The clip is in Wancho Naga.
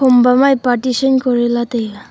kom bama ye partition kori lah taiga.